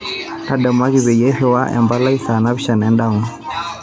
ntadamuaki peyie airiwaa empalai saa napishana endama